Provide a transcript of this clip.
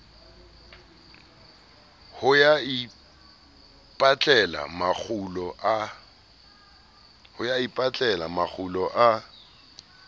ho ya ipatlela makgulo a